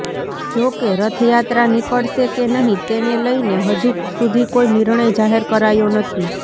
જો કે રથયાત્રા નીકળશે કે નહીં તેને લઈને હજુ સુધી કોઈ નિર્ણય જાહેર કરાયો નથી